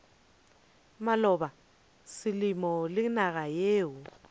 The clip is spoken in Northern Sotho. maloba selemo le naga yeo